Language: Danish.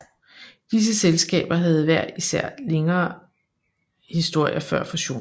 Disse selskaber havde hver især længere historier før fusionen